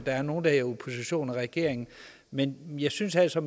er nogle der er i opposition regering men jeg synes altså